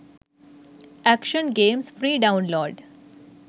action games free download